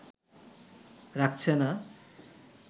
রাখছে না